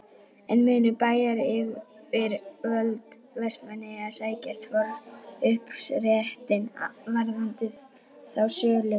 En munu bæjaryfirvöld Vestmannaeyja sækja forkaupsréttinn varðandi þá sölu?